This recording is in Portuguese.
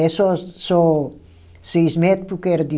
É só só seis metro porque era de.